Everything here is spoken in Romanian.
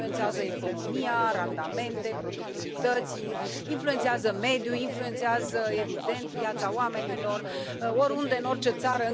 Influențează economia, randamente, productivități, influențează mediul, influențează, evident, viața oamenilor oriunde, în orice țară.